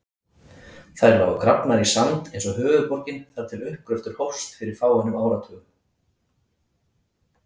Þær lágu grafnar í sand eins og höfuðborgin þar til uppgröftur hófst fyrir fáeinum áratugum.